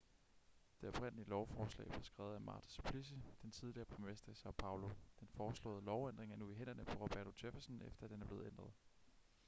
det oprindelige lovforslag blev skrevet af marta suplicy den tidligere borgmester i são paulo. den foreslåede lovændring er nu i hænderne på roberto jefferson efter at den er blevet ændret